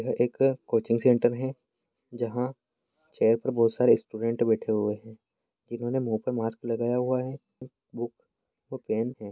यह एक coaching centre है जहाँ चेयर पे बहुत सारे स्टूडेंट बैठे हुए है जिन्होंने मुँह पे मास्क लगाया हुआ है बुक और पेन है।